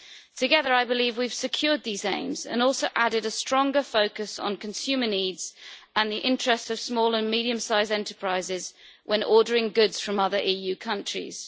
Together, I believe we have secured these aims and also added a stronger focus on consumer needs and the interests of small and medium sized enterprises when ordering goods from other EU countries.